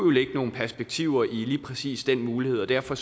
ligge nogle perspektiver i lige præcis den mulighed og derfor